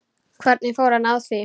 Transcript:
Hvernig fór hann að því?